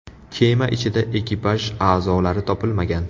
Kema ichida ekipaj a’zolari topilmagan.